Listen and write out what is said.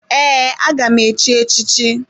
Ee, aga m echi echi chi.